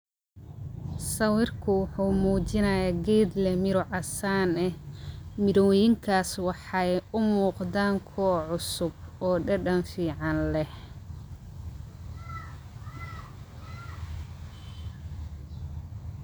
Sawirku wuhumujinaya geed lex miraa caasan eh, miroyinkas waxay umugdan kuwa cusub oo dadan fican leh,